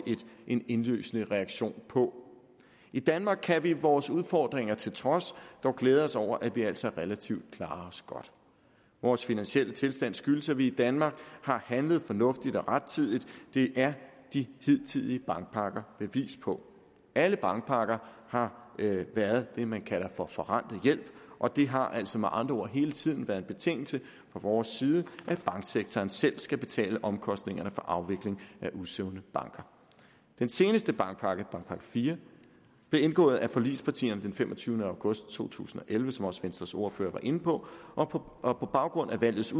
en indlysende reaktion på i danmark kan vi vores udfordringer til trods dog glæde os over at vi altså relativt klarer os godt vores finansielle tilstand skyldes at vi i danmark har handlet fornuftigt og rettidigt det er de hidtidige bankpakker bevis på alle bankpakker har været det man kalder for forrentet hjælp og det har altså med andre ord hele tiden været en betingelse fra vores side at banksektoren selv skal betale omkostningerne for afvikling af usunde banker den seneste bankpakke bankpakke iv blev indgået af forligspartierne den femogtyvende august to tusind og elleve som også venstres ordfører var inde på og på og på baggrund af valgets